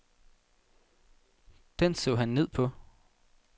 Den så han ned på.